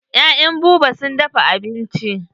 Ya'yan Buba sun dafa abinci.